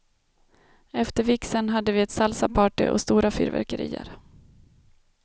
Efter vigseln hade vi ett salsaparty och stora fyrverkerier.